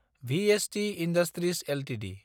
VST industries Ltd